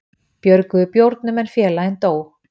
Björguðu bjórnum en félaginn dó